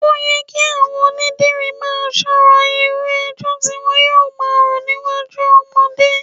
Ó yẹ kí àwọn onídìrí máa ṣọ́ra irú ẹjọ́ tí wọn yóò máa rò níwájú ọmọdé